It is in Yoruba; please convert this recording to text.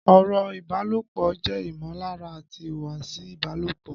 Ọ̀rọ̀ ìbálòpọ̀ jẹ́ ìmọ̀lára àti ìhùwàsí ìbálòpọ̀